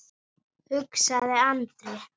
Nóg er samt.